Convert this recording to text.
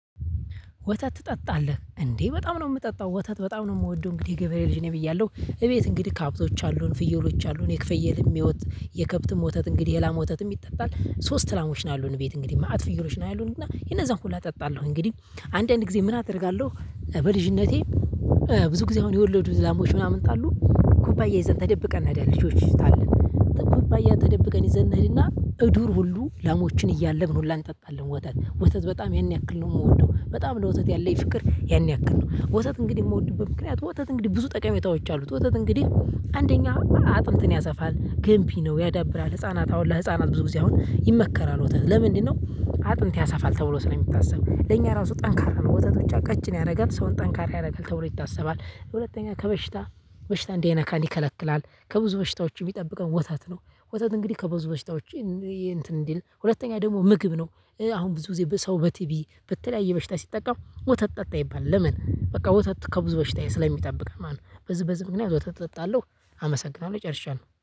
ወተት ትጠጣለህ እንዴ? በጣም ነው የምጠጣው ወተት በጣም ነው የምወደው እንግዲህ ገበሬ ልጅ ነኝ ብያለሁ እቤት እንግዲህ ከሀብቶች አሉን ፍየሎች አሉን የክፍየልም ህይወት የከብትም ወተት እንግዲህ የላም ወተትም ይጠጣል። ሶስት ላሞች ነው ያሉን ቤት እንግዲህ መአት ፍየሎች ነው ያሉን እና የነዛን ሁላ እጠጣለሁ እንግዲህ አንዳንድ ጊዜ ምን አደርጋለሁ። በልጅነቴ ብዙ ጊዜ አሁን የወለዱ ላሞች ምናምን ካሉ ኩባያ ይዘን ተደብቀን እኔዳለን ልጆች ታለን። ኩባያ ተደብቀን ይዘን እንሂድና እዱር ሁሉ ላሞችን እያለብን ሁላ እንጠጣለን። ወተት ወተት በጣም ያን ያክል ነው የምወደው በጣም ለወተት ያለኝ ፍቅር ያን ያክል ነው። ወተት እንግዲህ የምወድብት ምክንያት ወተት እንግዲህ ብዙ ጠቀሜታዎች አሉት። ወተት እንግዲህ አንደኛ አጥንትን ያሰፋል ገንቢ ነው ያዳብራል ህፃናት አሁን ለህፃናት ብዙ ጊዜ አሁን ይመከራል። ወተት ለምንድነው? አጥንት ያሳፋል ተብሎ ስለሚታሰብ ለኛ ራሱ ጠንካራ ነው ወተት ብቻ ቀጭን ያደርጋል ሰውን ጠንካራ ያደርጋል ተብሎ ይታሰባል። ሁለተኛ ከበሽታ በሽታ እንዳይነካን ይከለክላል ከብዙ በሽታዎች የሚጠብቀው ወታት ነው። ወተት እንግዲህ ከብዙ በሽታዎች። እንትን እንዲል ሁለተኛ ደግሞ ምግብ ነው። አሁን ብዙ ሰው በቲቪ በተለያየ በሽታ ሲጠቃም ወተት ጠጣ ይባላል ለምን? በቃ ወተት ከብዙ በሽታ ስለሚጠብቅ ማለት ነው። በዝበዝ ምክንያት ወተት እጠጣለሁ። አመሰግናለሁ ጨርሻለሁ